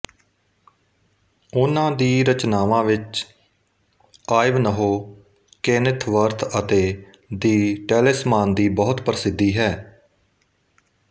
ਉਹਨਾਂ ਦੀ ਰਚਨਾਵਾਂ ਵਿੱਚ ਆਇਵਨਹੋ ਕੇਨਿਥਵਰਥਅਤੇ ਦਿ ਟੈਲਿਸਮਾਨਦੀ ਬਹੁਤ ਪ੍ਰਸਿਧੀ ਹੈ